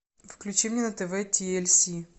включи мне на тв ти эль си